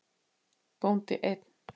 Bóndi einn.